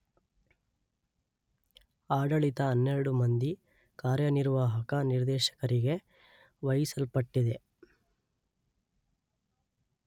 ಆಡಳಿತ ಹನ್ನೆರಡು ಮಂದಿ ಕಾರ್ಯನಿರ್ವಾಹಕ ನಿರ್ದೇಶಕರಿಗೆ ವಹಿಸಲ್ಪಟ್ಟಿದೆ.